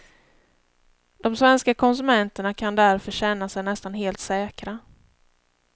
De svenska konsumenterna kan därför känna sig nästan helt säkra.